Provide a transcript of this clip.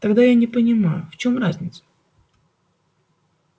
тогда я не понимаю в чём разница